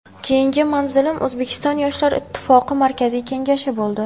Keyingi manzilim O‘zbekiston Yoshlar ittifoqi Markaziy Kengashi bo‘ldi.